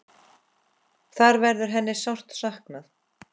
Þar verður hennar sárt saknað.